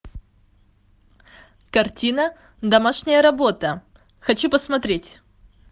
картина домашняя работа хочу посмотреть